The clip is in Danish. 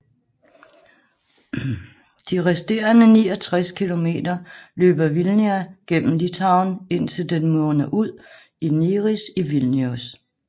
De resterende 69 km løber Vilnia gennem Litauen indtil den munder ud i Neris i Vilnius